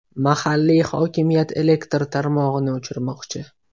Mahalliy hokimiyat elektr tarmog‘ini o‘chirmoqchi.